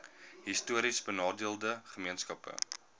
histories benadeelde gemeenskappe